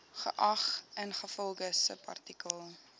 geag ingevolge subartikel